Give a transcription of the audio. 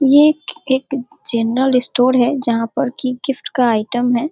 ये एक एक जनरल स्टोर है जहाँ पर कि गिफ्ट का आइटम है।